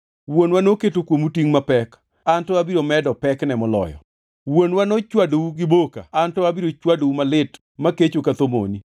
Wuonwa noketo kuomu tingʼ mapek; an to abiro medo pekne moloyo. Wuonwa nochwadou gi boka, an to abiro chwadou malit makecho ka thomoni.’ ”